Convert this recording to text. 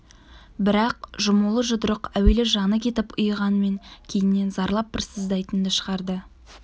бірақ жұмулы жұдырық әуелі жаны кетіп ұйығанмен кейіннен зарлап бір сыздайтынды шығарды